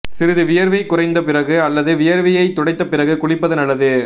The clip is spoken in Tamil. சிறிது வியர்வை குறைந்தபிறகு அல்லது வியர்வையைத் துடைத்த பிறகு குளிப்பது நல்லது